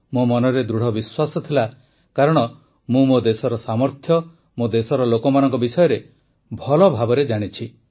ମୋ ମନରେ ଦୃଢ଼ ବିଶ୍ୱାସ ଥିଲା କାରଣ ମୁଁ ମୋ ଦେଶର ସାମର୍ଥ୍ୟ ମୋ ଦେଶର ଲୋକମାନଙ୍କ ବିଷୟରେ ଭଲ ଭାବରେ ଜାଣିଛି